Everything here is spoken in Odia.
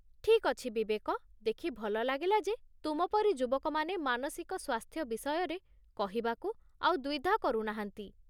ଠିକ୍ ଅଛି ବିବେକ, ଦେଖି ଭଲ ଲାଗିଲା ଯେ ତୁମ ପରି ଯୁବକମାନେ ମାନସିକ ସ୍ୱାସ୍ଥ୍ୟ ବିଷୟରେ କହିବାକୁ ଆଉ ଦ୍ୱିଧା କରୁ ନାହାନ୍ତି।